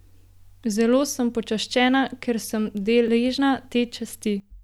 Zelo sem počaščena, ker sem deležna te časti.